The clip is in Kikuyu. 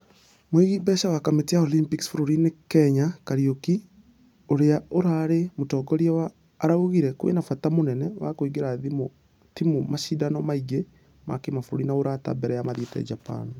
Mũigi mbeca wa kamĩtĩ ya olympics bũrũri-inĩ kenya kariuki ũrĩa ũrarĩ mũtongoria wa ....araugire kwĩna bata mũnene wa kũingĩria timũ mashidano mangĩ ma kĩmabũrũri ma ũrata mbere ya mathiete japan.